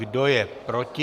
Kdo je proti?